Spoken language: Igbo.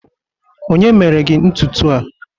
onye mere gi ntutu a?